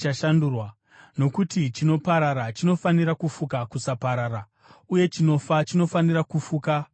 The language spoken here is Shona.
Nokuti chinoparara chinofanira kufuka kusaparara, uye chinofa chinofanira kufuka kusafa.